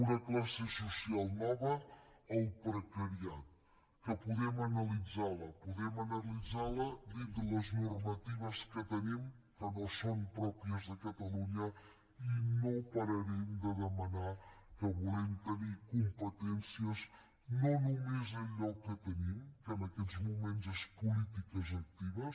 una classe social nova el precariat que podem analitzar la podem analitzar la dintre les normatives que tenim que no són pròpies de catalunya i no pararem de demanar que volem tenir competències no només allò que tenim que en aquests moments són polítiques actives